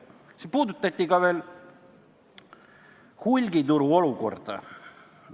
Siin puudutati ka hulgituru olukorda.